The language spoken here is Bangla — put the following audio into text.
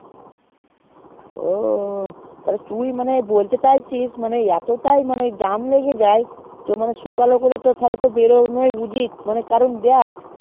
ও তুই মানেবলতে চাষ জি এতটাই jam লেগে যায় তাহলে তো শুকালো করে বইয়েই যাওয়া উচিত তার কারণ দেখ